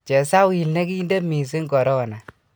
chesawil ne kinte mising korona!